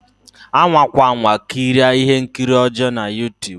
Anwakwa anwa kirie ihe nkiri ọjọ na Youtube